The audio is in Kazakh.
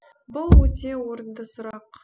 бұл өте орынды сұрақ